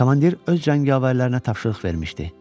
Komandir öz cəngavərlərinə tapşırıq vermişdi.